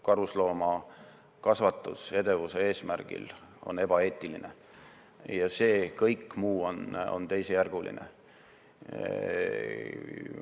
Karusloomakasvatus edevuse eesmärgil on ebaeetiline ja kõik muu on teisejärguline.